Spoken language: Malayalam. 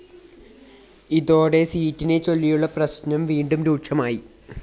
ഇതോടെ സീറ്റിനെച്ചൊല്ലിയുള്ള പ്രശ്‌നം വീണ്ടും രൂക്ഷമായി